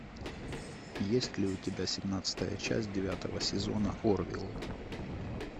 есть ли у тебя семнадцатая часть девятого сезона орвилл